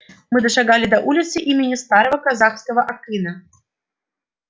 мы дошагали до улицы имени старого казахского акына